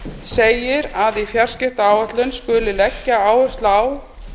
segir að í fjarskiptaáætlun skuli leggja áherslu á